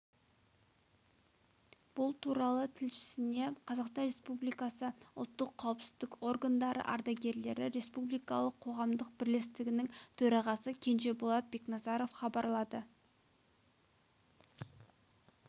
бұл туралы тілшісіне қазақстан республикасы ұлттық қауіпсіздік органдары ардагерлері республикалық қоғамдық бірлестігінің төрағасы кенжеболат бекназаров хабарлады